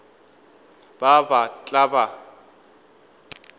ba ba ba tla ba